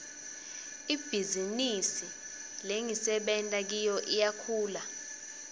ibhizinisi lengisebenta kiyo iyakhula